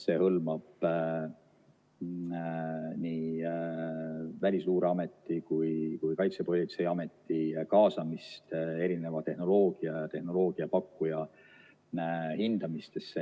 See hõlmab nii Välisluureameti kui ka Kaitsepolitseiameti kaasamist erineva tehnoloogia ja tehnoloogiapakkuja hindamisse.